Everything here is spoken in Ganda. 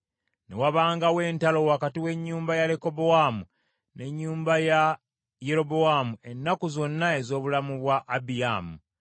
Ne wabangawo entalo wakati w’ennyumba ya Lekobowaamu n’ennyumba ya Yerobowaamu ennaku zonna ez’obulamu bwa Abiyaamu.